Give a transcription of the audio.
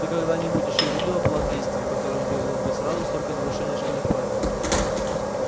ты когда-нибудь ещё видела план действий в котором было бы сразу столько нарушений школьных правил